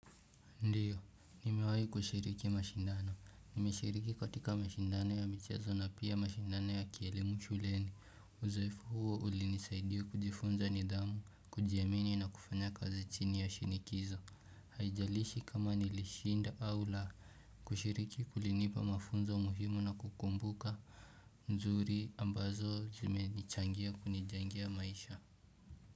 Ndio, nimewahi kushiriki mashindano. Nimeshiriki katika mashindano ya michezo na pia mashindano ya kielimu shuleni. Uzoefu huo ulinisaidia kujifunza ni dhamu, kujiamini na kufanya kazi chini ya shinikizo. Haijalishi kama nilishinda au la. Kushiriki kulinipa mafunzo muhimu na kukumbuka. Nzuri ambazo zimenichangia kunijengea maisha.